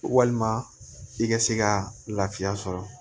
Walima i ka se ka lafiya sɔrɔ